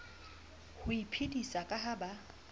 ho iphedisa ka ha ba